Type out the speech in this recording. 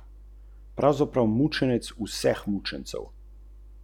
Lep maček je, kultiviran.